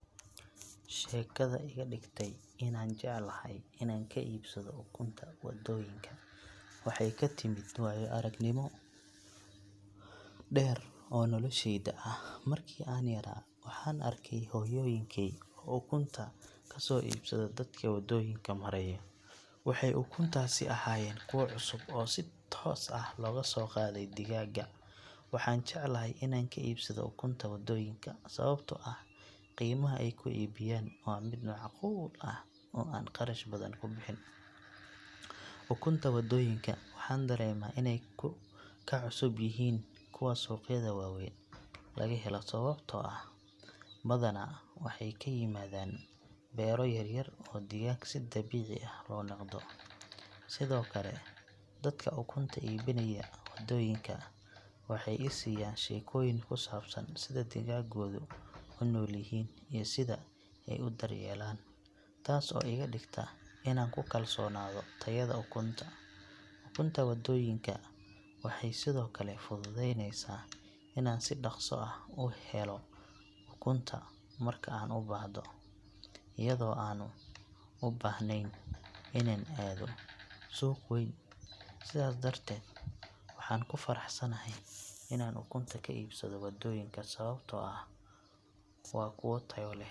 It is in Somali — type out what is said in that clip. Sheekada iga dhigta inaan jeclahay inaan ka iibsado ukunta waddooyinka waxay ka timid waayo-aragnimo dheer oo noloshayda ah. Markii aan yaraa, waxaan arkay hooyooyinkay oo ukunta ka soo iibsada dadka waddooyinka maraya, waxayna ukuntaasi ahaayeen kuwo cusub oo si toos ah looga soo qaaday digaagga. Waxaan jeclahay inaan ka iibsado ukunta waddooyinka sababtoo ah qiimaha ay ku iibiyaan waa mid macquul ah oo aan qarash badan ku bixin. Ukunta waddooyinka waxaan dareemaa inay ka cusub yihiin kuwa suuqyada waaweyn laga helo sababtoo ah badanaa waxay ka yimaadaan beero yaryar oo digaag si dabiici ah loo dhaqdo. Sidoo kale dadka ukunta iibinaya waddooyinka waxay i siiyaan sheekooyin ku saabsan sida digaaggoodu u nool yihiin iyo sida ay u daryeelaan, taas oo iga dhigta inaan ku kalsoonaado tayada ukunta. Ukunta waddooyinka waxay sidoo kale fududeynaysaa inaan si dhaqso ah u helo ukunta marka aan u baahdo, iyadoo aanan u baahnayn inaan aado suuq weyn. Sidaas darteed, waxaan ku faraxsanahay inaan ukunta ka iibsado waddooyinka sababtoo ah waa kuwo tayo leh.